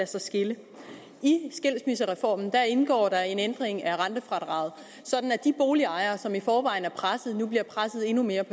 sig skille i skilsmissereformen indgår der en ændring af rentefradraget sådan at de boligejere som i forvejen er presset nu bliver presset endnu mere i